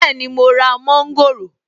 Bẹ́ẹ̀ni mo ra mọ́ńgòrò.